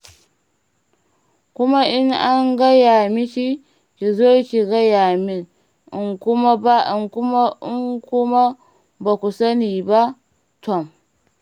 Kuma in an gaya miki ki zo ki gaya min, in kuma ba ku sani ba, tom!